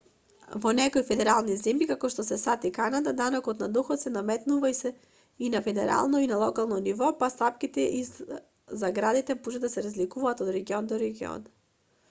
во некои федерални земји како што се сад и канада данок на доход се наметнува и на федерално и на локално ниво па стапките и заградите може да се разликуваат од регион до регион